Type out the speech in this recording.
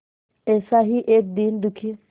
ऐसा ही एक दीन दुखी